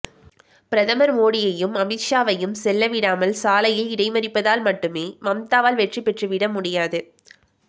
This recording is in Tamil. பிரதமர் மோடியையும் அமித்ஷாவையும் செல்ல விடாமல் சாலையில் இடைமறிப்பதால் மட்டுமே மம்தாவால் வெற்றி பெற்றுவிட முடியாது